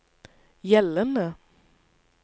gjeldende